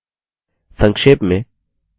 संक्षेप में हमने निम्न सीखा हैः